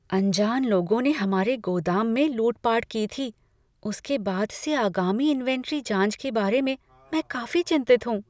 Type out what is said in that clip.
अनजान लोगों ने हमारे गोदाम में लूटपाट की थी, उसके बाद से आगामी इन्वेंट्री जाँच के बारे में मैं काफी चिंतित हूँ।